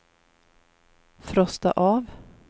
frosta av